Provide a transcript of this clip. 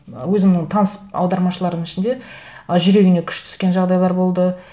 өзімнің таныс аудармашылардың ішінде ы жүрегіне күш түскен жағдайлар болды